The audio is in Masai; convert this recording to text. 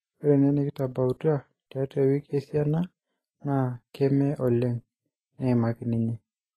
Ore ene nekitabautua tiatua wiki esiana naa keme olieng,'' neimaki ninye.